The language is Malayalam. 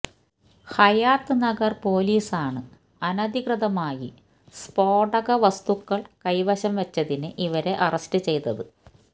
ഹയാത്ത് നഗർ പൊലീസാണ് അനധികൃതമായി സ്ഫോടക വസ്തുക്കൾ കൈവശം വെച്ചതിന് ഇവരെ അറസ്റ്റ് ചെയ്തത്